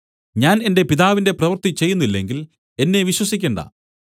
ഞാൻ എന്റെ പിതാവിന്റെ പ്രവൃത്തി ചെയ്യുന്നില്ലെങ്കിൽ എന്നെ വിശ്വസിക്കണ്ട